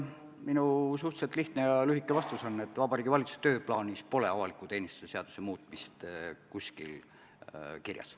Minu suhteliselt lihtne ja lühike vastus on, et Vabariigi Valitsuse tööplaanis pole avaliku teenistuse seaduse muutmist kuskil kirjas.